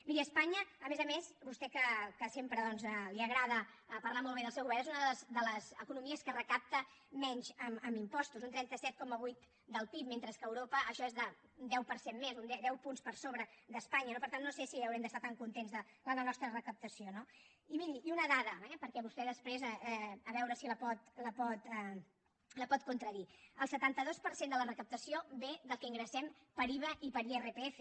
miri a espanya a més a més vostè que sempre li agrada parlar molt bé del seu govern és una de les economies que recapta menys en impostos un trenta set coma vuit del pib mentre que a europa això és el deu per cent més deu punts per sobre d’espanya no per tant no sé si haurem d’estar tan contents de la nostra recaptació no i miri una dada perquè vostè després a veure si la pot contradir el setanta dos per cent de la recaptació ve del que ingressem per iva i per irpf